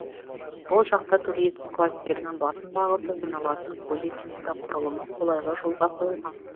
бұл жақта туризм кластерінің басым бағыты саналатын көлік инфрақұрылымы қолайлы жолға қойылған